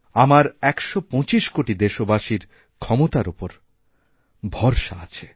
আমার একশো পঁচিশকোটি দেশবাসীরক্ষমতার উপর ভরসা আছে